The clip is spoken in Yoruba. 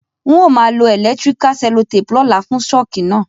N o ma lo electrical cellotape lóla fun shock náà